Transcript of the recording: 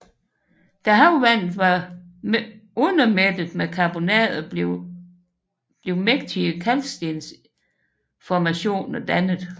Da havvandet var undermættet med karbonater blev mægtige kalkstensformationer dannet